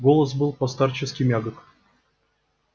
голос был по-старчески мягок